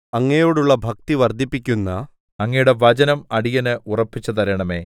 അങ്ങയോടുള്ള ഭക്തി വർദ്ധിപ്പിക്കുന്ന അങ്ങയുടെ വചനം അടിയന് ഉറപ്പിച്ചുതരണമേ